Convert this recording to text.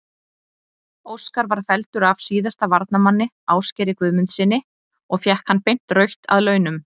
Óskar var felldur af síðasta varnarmanni, Ásgeiri Guðmundssyni og fékk hann beint rautt að launum.